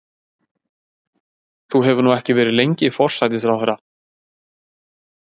Þú hefur nú ekki verið lengi forsætisráðherra?